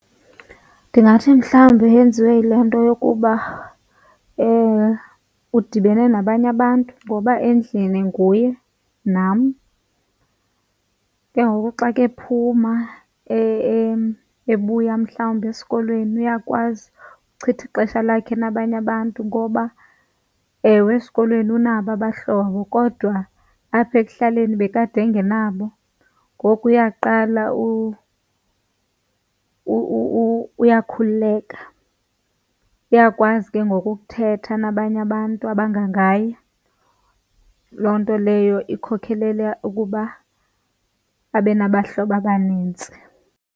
Ndingathi mhlawumbi yenziwe yile nto yokuba udibene nabanye abantu ngoba endlini nguye nam, ke ngoku xa kephuma ebuya mhlawumbi esikolweni uyakwazi uchitha ixesha lakhe nabanye abantu. Ngoba ewe esikolweni unabo abahlobo kodwa apha ekuhlaleni bekade engenabo, ngoku uyaqala uyakhululeka, uyakwazi ke ngoku ukuthetha nabanye abantu abangangaye. Loo nto leyo ikhokelela ukuba abe nabahlobo abanintsi.